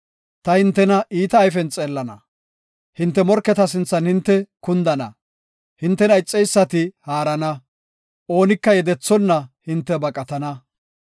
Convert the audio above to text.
Ta hintena iita ayfen xeellana; hinte morketa sinthan hinte kundana; hintena ixeysati haarana; oonika yedethonna hinte baqatana.